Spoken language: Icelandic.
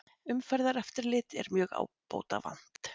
Umferðareftirlit er mjög ábótavant